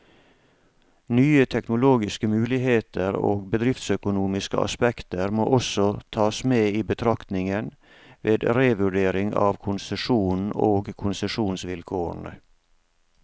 Nye teknologiske muligheter og bedriftsøkonomiske aspekter må også tas med i betraktningen, ved revurdering av konsesjonen og konsesjonsvilkårene.